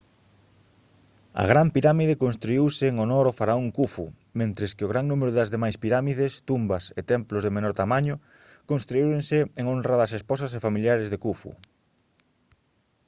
a gran pirámide construíuse en honor ao faraón khufu mentres que gran número das demais pirámides tumbas e templos de menor tamaño construíronse en honra das esposas e familiares de khufu